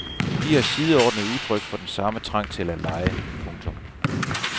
De er sideordnede udtryk for den samme trang til at lege. punktum